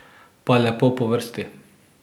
Pa lepo po vrsti.